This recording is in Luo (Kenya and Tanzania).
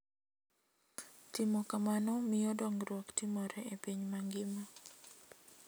Timo kamano miyo dongruok timore e piny mangima.